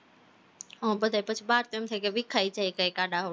હા બધા પછી બાર તો એમ થાય વિખાય જાય કંઈક આડા-અવળું થાય